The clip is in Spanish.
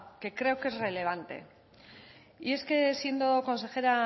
que creo que es relevante y es que siendo consejera